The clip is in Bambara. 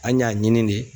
An y'a ɲini de